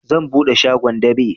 Zan buɗe shagon dab'i